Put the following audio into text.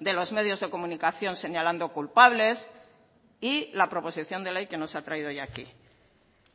de los medios de comunicación señalando culpables y la proposición de ley que nos ha traído hoy aquí